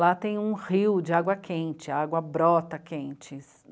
Lá tem um rio de água quente, água brota quente.